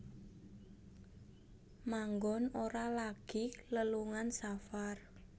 Manggon Ora lagi lelungan safar